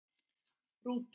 Rútur